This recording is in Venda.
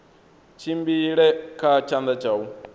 tshimbile kha tshanḓa tsha u